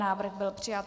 Návrh byl přijat.